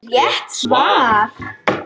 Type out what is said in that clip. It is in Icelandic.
Rétt svar!